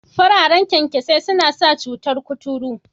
Fararen kyankyasai na sa cutar kuturu